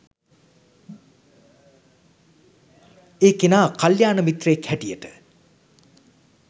ඒ කෙනා කළ්‍යාණ මිත්‍රයෙක් හැටියට